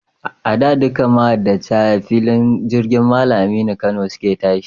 A da, dukkan mahajjata, a filin jirgin Mallam Aminu Kano su ke tashi.